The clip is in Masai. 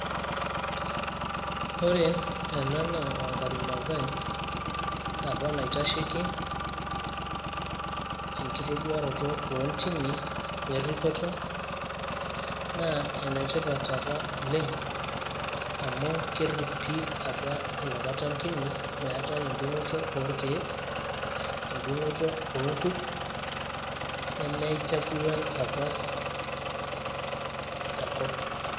ore ena naa wangari maathai, apa naitasheki eripoto oo ntimi, naa ene tipat apa oleng'.amu keripi apa inakata ntimi meetae edung'oto oorkeek, meetae edung'oto oo nkuk. nemeichafuae apa enkop.